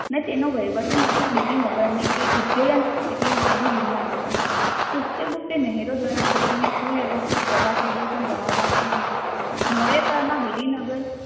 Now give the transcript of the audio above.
અને તેનો વહીવટી મથક ગિરી નગરની કે ઉઝેયન એટલે હાલનું ગિરનાર હતું. પુસ્યગુપ્તે નહેરો દ્વારા ખેતીને સુવ્યવસ્થિત કરવા સુદર્શન હતું. મોર્ય કાળમાં ગિરિનગર